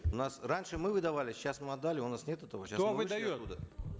у нас раньше мы выдавали сейчас мы отдали у нас нет этого сейчас кто выдает